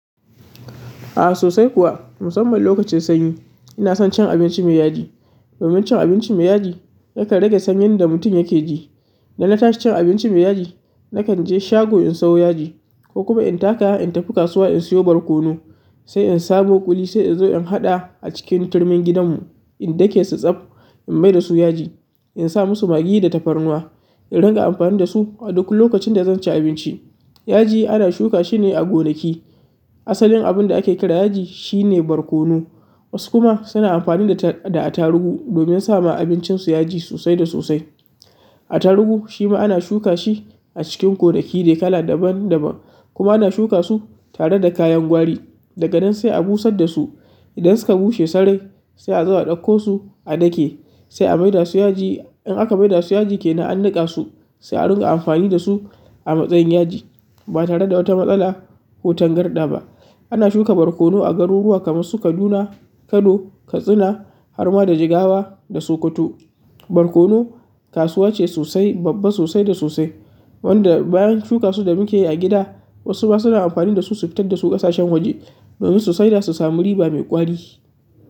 Ah sosai kuwa, musamman lokacin sanyi ina son cin abinci mai yaji. Domin cin abinci mai yaji yakan rage sanyin da mutum yake ji idan na tashi cin abinci mai yaji, nakan je shago in sawo yaji, ko in taka in tafi kasuwa in siyo barkono, sai in samo ƙuli sai in zo in haɗa a cikin turmin gidan mu dana tashi cin abinci mai yaji, nakan je shago in sayo yaji ko kuma in taka in tafi kasuwa in siyo barkono, sai in samo ƙuli sai in zo in haɗa a cikin turmin gidanmu. Yaji ana shuka shi ne a gonaki. Asalin abin da ake kira yaji shi ne barkono. Wasu kuma suna amfani da attaruhu domin sama abincinsu yaji sosai da sosai. Attaruhu shi ma ana shuka shi a cikin gonaki ne kala daban daban kuma ana shuka su tare da kayan gwari. Daga nan sai a busar da su. Idan suka bushe sarai sai a zo a ɗauko su a dake sai a mai da su yaji. In aka maida su yaji kenan an niƙa su, sai a ringa amfani dasu a matsayin yaji ba tare da wata matsala ko tangarɗa ba ana shuka barkono a garuruwa kamar su Kaduna, Kano, Katsina, har ma da Jigawa da Sokoto. Barkono. Kasuwa ce sosai, babba sosai da sosai wanda bayan shuka su da muke yi a gida wasu ma suna amfani dasu su fitar da su ƙasashen waje domin su saida su samu riba mai ƙwari.